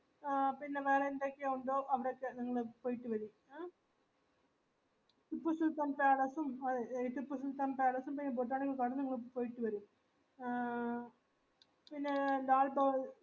ആ പിന്നെ വേറെന്തൊക്കെ ഉണ്ടോ അവിടൊക്കെ നിങ്ങൾ പോയിറ്റ് വരൂ ടിപ്പുസുൽത്താൻ palace ഉം ഈഹ്‌ ടിപ്പുസുൽത്താൻ palace ഉം botanical garden ഉം നിങ്ങൾ പോയിട്ട് വരൂ ആ പിന്നെ ലാൽ